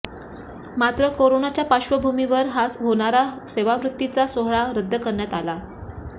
मात्र कोरोनाच्या पार्श्वभूमीवर होणारा सेवानिवृत्ती चा सोहळा रद्द करण्यात आला